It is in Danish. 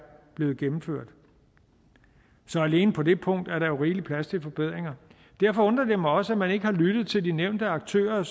blevet gennemført så alene på det punkt er der jo rigelig plads til forbedringer derfor undrer det mig også at man ikke har lyttet til de nævnte aktører